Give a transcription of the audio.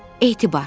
Etibar.